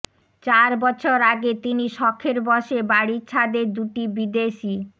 চার বছর আগে তিনি শখের বসে বাড়ির ছাদে দুটি বিদেশি